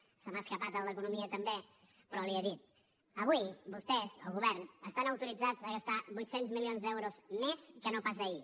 se m’ha escapat el d’economia també però li ho he dit avui vostès el govern estan autoritzats a gastar vuit cents milions d’euros més que no pas ahir